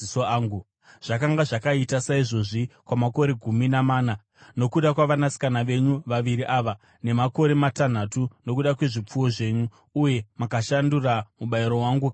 Zvakanga zvakaita saizvozvi kwamakore gumi namana nokuda kwavanasikana venyu vaviri ava nemakore matanhatu nokuda kwezvipfuwo zvenyu, uye makashandura mubayiro wangu kagumi.